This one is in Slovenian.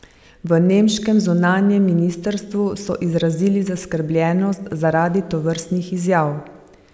V nemškem zunanjem ministrstvu so izrazili zaskrbljenost zaradi tovrstnih izjav.